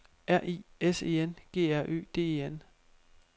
R I S E N G R Ø D E N